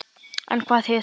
En hvað þýðir það?